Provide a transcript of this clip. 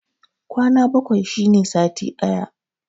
Kwana bakwai shine sati ɗaya